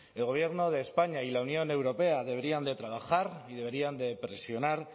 el gobierno de españa y la unión europea deberían trabajar y deberían presionar